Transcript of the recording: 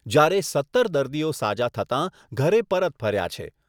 જ્યારે સત્તર દર્દીઓ સાજા થતાં ઘરે પરત ફર્યા છે.